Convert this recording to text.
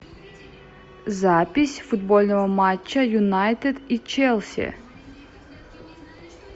запись футбольного матча юнайтед и челси